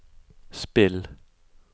spill